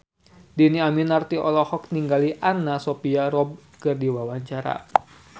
Dhini Aminarti olohok ningali Anna Sophia Robb keur diwawancara